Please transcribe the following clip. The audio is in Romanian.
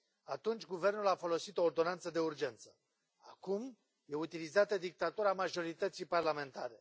Atunci guvernul a folosit o ordonanță de urgență, acum e utilizată dictatura majorității parlamentare.